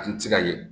A tun tɛ se ka ye